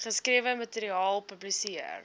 geskrewe materiaal publiseer